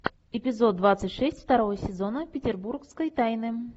эпизод двадцать шесть второго сезона петербургской тайны